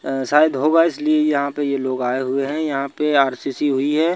अ शायद होगा इसलिए यहां पे ये लोग आए हुए हैं यहां पे आर_सी_सी हुई है।